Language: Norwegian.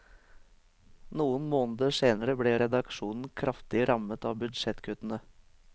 Noen måneder senere ble redaksjonen kraftig rammet av budsjettkuttene.